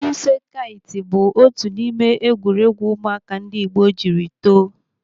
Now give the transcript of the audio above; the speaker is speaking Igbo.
Ife kait bụ otu n'ime egwuregwu ụmụaka ndị Igbo jiri too